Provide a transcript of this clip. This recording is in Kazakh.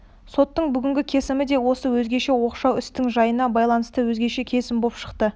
соттың бүгінгі кесімі де осы өзгеше оқшау істің жайына байланысты өзгеше кесім боп шықты